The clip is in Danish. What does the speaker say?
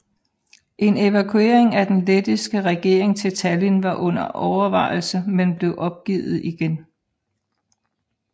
En evakuering af den lettiske regering til Tallinn var under overvejelse men blev opgivet igen